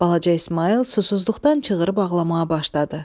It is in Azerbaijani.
Balaca İsmayıl susuzluqdan çığırıb ağlamağa başladı.